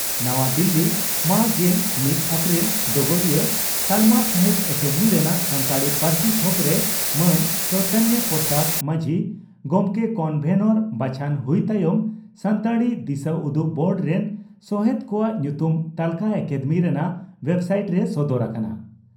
ᱱᱟᱣᱟ ᱫᱤᱞᱤ ᱢᱟᱹ ᱜᱮᱞ ᱢᱤᱛ ᱮᱯᱨᱤᱞ (ᱰᱚᱜᱚᱨᱤᱭᱟᱹ) ᱺ ᱛᱟᱞᱢᱟ ᱥᱟᱦᱤᱛᱭᱚ ᱟᱠᱟᱫᱮᱢᱤ ᱨᱮᱱᱟᱜ ᱥᱟᱱᱛᱟᱲᱤ ᱯᱟᱹᱨᱥᱤ ᱛᱷᱚᱠᱨᱮ ᱢᱟᱱ ᱪᱚᱭᱤᱛᱚᱱ ᱯᱨᱚᱥᱟᱫᱽ ᱢᱟᱹᱡᱷᱤ ᱜᱚᱢᱠᱮ ᱠᱚᱱᱵᱷᱮᱱᱟᱨ ᱵᱟᱪᱷᱚᱱ ᱦᱩᱭ ᱛᱟᱭᱚᱢ 'ᱥᱟᱱᱛᱟᱲᱤ ᱫᱤᱥᱟᱹᱩᱫᱩᱜ ᱵᱳᱨᱰ' ᱨᱮᱱ ᱥᱚᱦᱮᱛ ᱠᱚᱣᱟᱜ ᱧᱩᱛᱩᱢ ᱛᱟᱹᱞᱠᱟᱹ ᱟᱠᱟᱫᱮᱢᱤ ᱨᱮᱱᱟᱜ ᱣᱮᱵᱥᱟᱭᱤᱴ ᱨᱮ ᱥᱚᱫᱚᱨ ᱟᱠᱟᱱᱟ ᱾